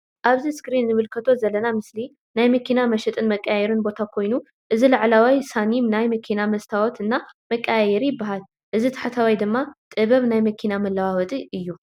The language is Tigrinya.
ኣብዚ እስክሪን እንምልከቶ ዘለና ምስሊ ናይ መኪና መሽጥን መቀየርን ቦታ ኮይኑ እዚ ላዕለዋይ ሳኒም ናይ መኪና መስተዋት እና መቀያየሪ ይበሃል። እዚ ታሕተዋይ ድማ ጥበብ ናይ መኪና መለዋወጢ እዩ።